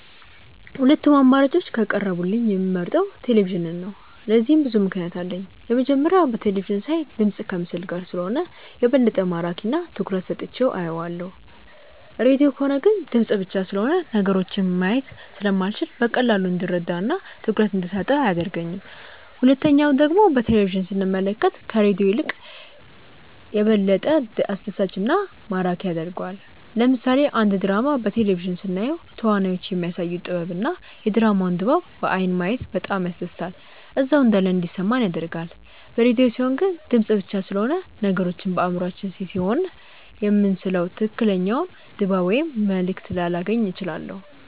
ሁለቱም አማራጮች ከቀረቡልኝ የምመርጠው ቴሌቪዥንን ነው። ለዚህም ብዙ ምክንያት አለኝ። የመጀመሪያው በቴለቪዥን ሳይ ድምፅ ከምስል ጋር ስለሆነ የበለጠ ማራኪ እና ትኩረት ሰጥቼው አየዋለሁ። ሬድዮ ከሆነ ግን ድምፅ ብቻ ስለሆነ ነገሮችን ማየት ስለማልችል በቀላሉ እንድረዳው እና ትኩረት እንደሰጠው አያደርገኝም። ሁለተኛው ደግሞ በቴሌቪዥን ስንመለከት ከሬዲዮ ይልቅ ይበልጥ አስደሳች እና ማራኪ ያደርገዋል። ለምሳሌ አንድ ድራማ በቴሌቪዥን ስናየው ተዋናዮቹ የሚያሳዩት ጥበብ እና የድራማውን ድባብ በአይን ማየት በጣም ያስደስታል እዛው እንዳለን እንዲሰማን ያደርጋል። በሬድዮ ሲሆን ግን ድምፅ ብቻ ስለሆነ ነገሮችን በአእምሯችን ስሴሆነ የምንስለው ትክክለኛውን ድባብ ወይም መልእክት ላላገኝ እችላለሁ።